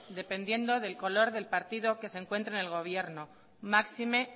dependiendo del color del partido que se encuentre en el gobierno máxime